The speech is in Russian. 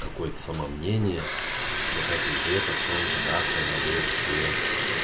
какой-то самомнение что так и где-то в чём-то как-то я был тебе